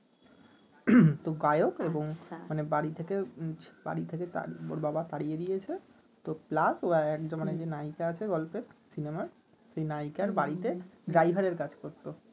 তো গায়ক এবং বাড়ি থেকে বাড়ি থেকে ওর বাবা তাড়িয়ে দিয়েছে ও একজন নায়িকা আছে গল্পে সিনেমায় সেই নায়িকার বাড়িতে কাজ করতো